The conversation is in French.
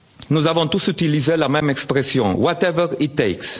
Nous avons tous utilisé la même expression Whatever